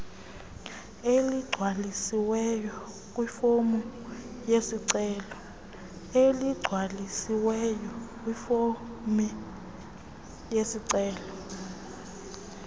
eligcwalisiweyo kwifomu yesicelo